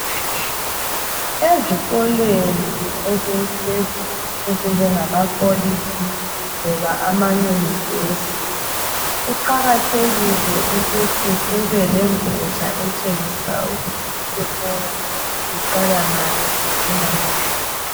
Ezikolweni eziphezulu ezinjengama kholitshi loba amanyunivesi. Kuqakathekile ukuthi kube lengotsha etshengisa ukuthi isikolo siqala ngaphi sicina ngaphi.